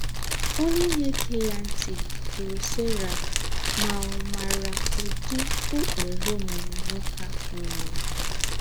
Ònyé na-égé yà ntị̀ jùrù Sera ma ọ̀ màrà ūdí ụ́kpèrè ōmùmè nwókè áhụ̀ nwèrè